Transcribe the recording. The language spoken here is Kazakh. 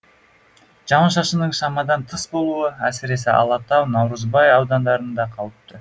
жауын шашынның шамадан тыс болуы әсіресе алатау наурызбай аудандарында қауіпті